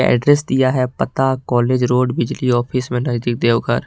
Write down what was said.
Address दिया है पता कॉलेज रोड बिजली ऑफिस में नजदीक देवघर।